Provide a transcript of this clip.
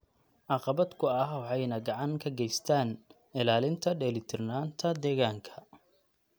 caqabad ku ah waxayna gacan ka geystaan ??ilaalinta dheelitirnaanta deegaanka.